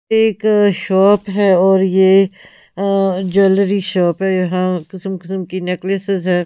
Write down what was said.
एक शॉप है और यह अ ज्वेलरी शॉप है यहां किस्म किस्म की नेकलेसेस है--